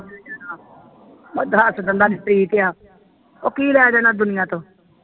ਉਦਾ ਹਸ ਠੀਕ ਆ ਉਹ ਕੀ ਲੈ ਜਾਣਾ ਦੁਨੀਆਂ ਤੋਂ।